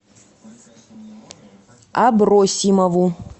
абросимову